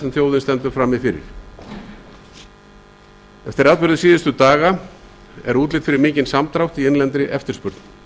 sem þjóðin stendur frammi fyrir eftir atburði síðustu daga er útlit fyrir mikinn samdrátt í innlendri eftirspurn